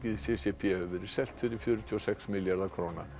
c c p hefur verið selt fyrir fjörutíu og sex milljarða króna